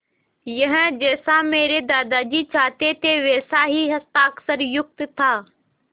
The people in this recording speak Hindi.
यह जैसा मेरे दादाजी चाहते थे वैसा ही हस्ताक्षरयुक्त था